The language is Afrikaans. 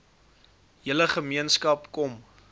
hele gemeenskap kom